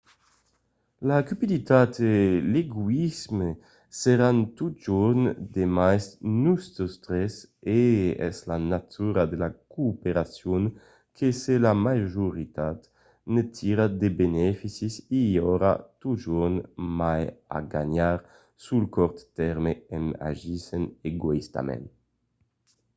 la cupiditat e l’egoïsme seràn totjorn demest nosautres e es la natura de la cooperacion que se la majoritat ne tira de beneficis i aurà totjorn mai a ganhar sul cort tèrme en agissent egoïstament